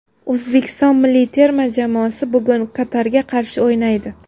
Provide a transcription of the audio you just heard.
O‘zbekiston milliy terma jamoasi bugun Qatarga qarshi o‘ynaydi.